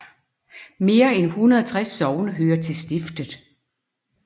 Mere end 160 sogne hører til stiftet